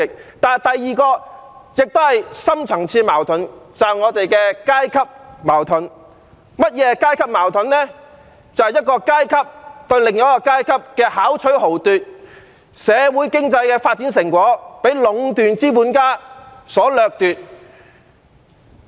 此外，第二點亦是一個深層次矛盾，正是我們的階級矛盾，即一個階級對另一個階級的巧取豪奪，社會經濟發展的成果被壟斷資本家所掠奪。